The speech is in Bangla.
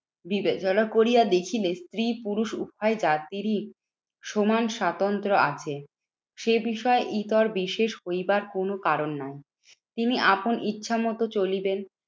বিবেচনা করিয়া দেখিলে স্ত্রী পুরুষ উভয় জাতিরই সমান স্বাতন্ত্র আছে। সে বিষয় ইতর বিশেষ হইবার কোনো কারণ নেই। তিনি আপন ইচ্ছা মতো চলিবেন।